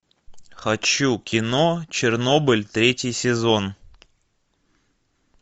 хочу кино чернобыль третий сезон